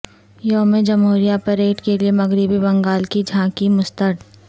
یوم جمہوریہ پریڈ کیلئے مغربی بنگال کی جھانکی مسترد